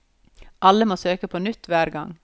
Alle må søke på nytt hver gang.